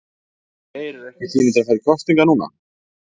Geir er ekki tími til að fara í kosningar núna?